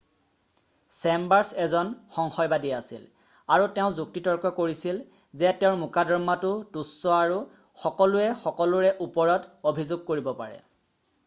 "Chambers এজন সংশয়বাদী আছিল আৰু তেওঁ যুক্তিতৰ্ক কৰিছিল যে তেওঁৰ মোকদ্দমাতো তুচ্ছ আৰু "সকলোৱে সকলোৰে ওপৰত অভিযোগ কৰিব পাৰে""।""